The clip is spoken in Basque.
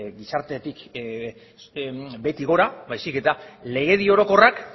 gizartetik behetik gora baizik eta legedi orokorrak